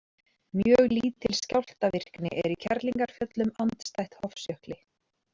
Mjög lítil skjálftavirkni er í Kerlingarfjöllum andstætt Hofsjökli.